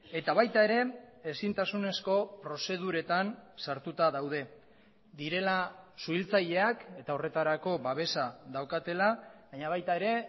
eta baita ere ezintasunezko prozeduretan sartuta daude direla suhiltzaileak eta horretarako babesa daukatela baina baita ere